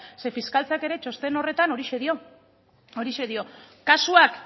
zeren fiskaltzak ere txosten horretan horixe dio kasuak